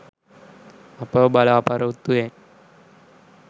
අපව බලාපොරොත්තුවෙන්